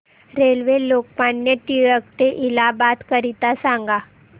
railway Lokmanya Tilak T ते इलाहाबाद करीता सांगा